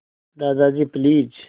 Dadaji please